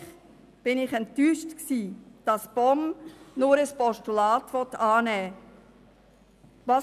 Natürlich war ich enttäuscht, dass die POM nur ein Postulat annehmen will.